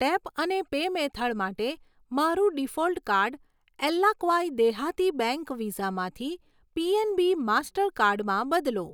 tap અને pay method માટે મારું ડિફૉલ્ટ કાર્ડ એલ્લાક્વાઈ દેહાતી બેંક વિઝામાંથી પીએનબી માસ્ટરકાર્ડમાં બદલો